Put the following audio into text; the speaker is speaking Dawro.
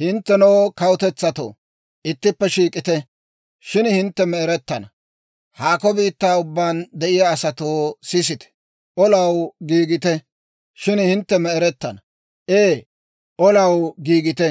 Hinttenoo kawutetsatto, ittippe shiik'ite! Shin hintte me'erettana! Haakko biittaa ubbaan de'iyaa asatoo, sisite! Olaw giigite! Shin hintte me'erettana! Ee, olaw giigite;